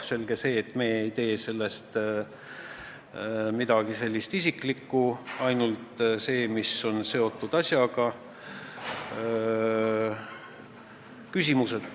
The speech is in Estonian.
Selge see, et me ei tee sellest midagi isiklikku, seal on ainult see, mis on asjaga seotud.